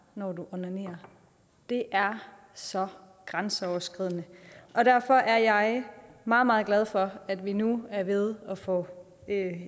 når du onanerer det er så grænseoverskridende og derfor er jeg meget meget glad for at vi nu er ved at få